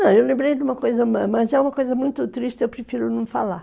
Não, eu lembrei de uma coisa, mas é uma coisa muito triste, eu prefiro não falar.